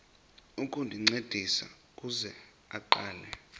ukuncediswa ukuze aqale